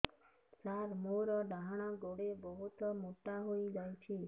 ସାର ମୋର ଡାହାଣ ଗୋଡୋ ବହୁତ ମୋଟା ହେଇଯାଇଛି